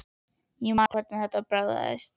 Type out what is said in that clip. Ég man ennþá nákvæmlega hvernig þetta bragðaðist.